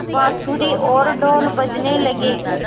बाँसुरी और ढ़ोल बजने लगे